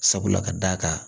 Sabula ka d'a kan